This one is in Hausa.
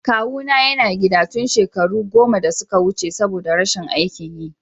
Kawuna yana gida tun shekaro goma da suka wuce saboda rashin aikin yi.